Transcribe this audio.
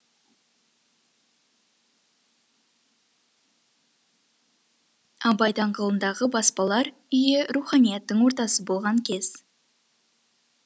абай даңғылындағы баспалар үйі руханияттың ортасы болған кез